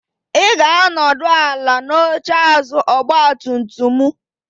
Ị ga-anọdụ ala n'oche azụ ọgba tum tum mụ.